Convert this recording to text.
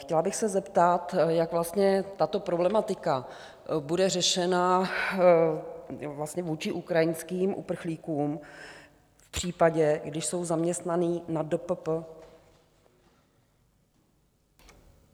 Chtěla bych se zeptat, jak vlastně tato problematika bude řešena vůči ukrajinským uprchlíkům v případě, když jsou zaměstnaní na DPP?